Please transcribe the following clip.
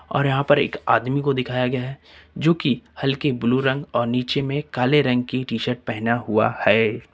और यहां पर एक आदमी को दिखाया गया है जो कि हल्के ब्लू रंग और नीचे में काले रंग की टी शर्ट पहना हुआ है।